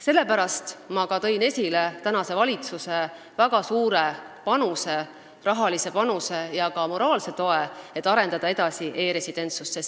Sellepärast tõin ma esile tänase valitsuse väga suure rahalise panuse ja ka moraalse toe sellele, et arendada edasi e-residentsust.